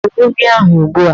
Gbuo ehi ahụ ugbu a!